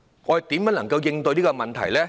我們應怎樣應對這個問題？